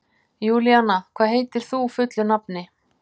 Júlíanna, hvað heitir þú fullu nafni?